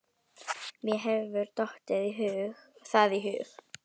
Mér hefur ekki dottið það í hug.